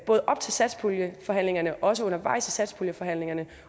både op til satspuljeforhandlingerne og også undervejs i satspuljeforhandlingerne